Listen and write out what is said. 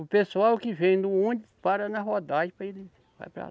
O pessoal que vem no ônibus para na rodagem, para ele vai para lá.